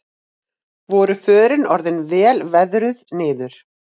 Voru förin orðin vel veðruð niður